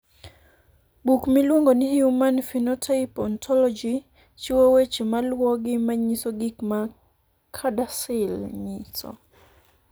Buk miluongo ni Human Phenotype Ontology chiwo weche maluwogi manyiso gik ma CADASIL nyiso.